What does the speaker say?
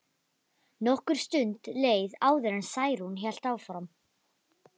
Nokkur stund leið áður en Særún hélt áfram.